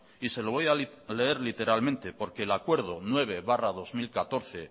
y se lo voy a leer literalmente porque el acuerdo nueve barra dos mil catorce